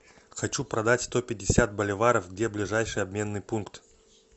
хочу продать сто пятьдесят боливаров где ближайший обменный пункт